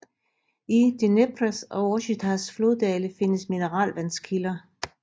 I Dneprs og Orsjitsas floddale findes mineralvandskilder